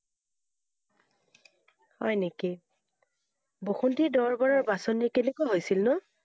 হয় নেকি? বসুন্থী দৰবাৰৰ বাছনি কেনেকৈ হৈছিল নো?